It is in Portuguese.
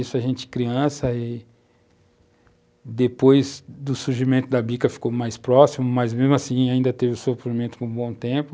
Isso a gente criança e depois do surgimento da bica ficou mais próximo, mas mesmo assim ainda teve o sofrimento por um bom tempo.